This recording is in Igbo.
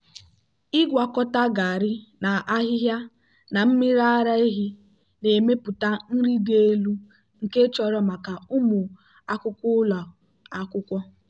ịgwakọta garri na ahịhịa na mmiri ara ehi na-emepụta nri dị elu nke chọrọ maka ụmụ akwụkwọ ụlọ akwụkwọ.